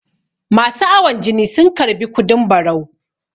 masu awon jini sun karbi kudin barau